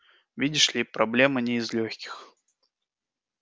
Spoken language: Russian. видишь ли проблема не из лёгких